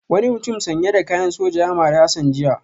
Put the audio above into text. Wani mutum sanye da kayan soja ya mari Hassan jiya